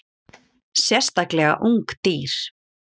Sérstaklega ung dýr.